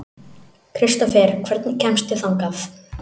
Kristófer, hvernig kemst ég þangað?